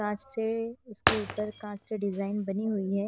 कांच से उसके ऊपर कांच से डिजाइन बनी हुई है।